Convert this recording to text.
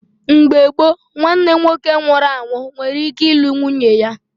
Mgbe gboo, nwanne nwoke nwụrụ anwụ nwere ike ịlụ nwunye ya